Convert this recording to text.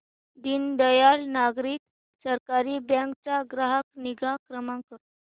दीनदयाल नागरी सहकारी बँक चा ग्राहक निगा क्रमांक